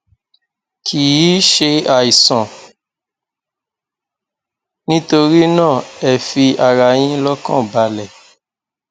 kì í ṣe àìsàn nítorí náà ẹ fi ara yín lọkàn balẹ